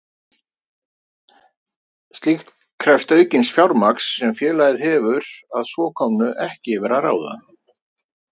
Slíkt krefst aukins fjármagns sem félagið hefur að svo komnu ekki yfir að ráða.